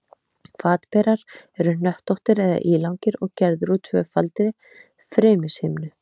Hvatberar eru hnöttóttir eða ílangir og gerðir úr tvöfaldri frymishimnu.